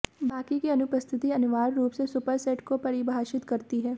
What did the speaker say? बाकी की अनुपस्थिति अनिवार्य रूप से सुपरसेट को परिभाषित करती है